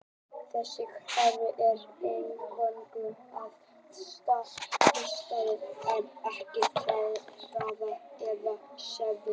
þessi kraftur er eingöngu háður stað hlutarins en ekki hraða eða stefnu